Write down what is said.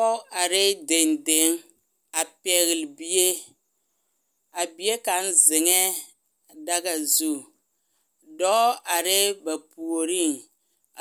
poge arɛɛ dendeŋ a pɛɛle bie a bie kaŋ zeŋee daga zu dɔɔ arɛɛ ba puoriŋ